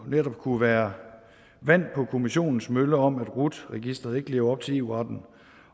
netop kunne være vand på kommissionens mølle om at rut registeret ikke lever op til eu retten